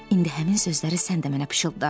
İndi həmin sözləri sən də mənə pıçılda.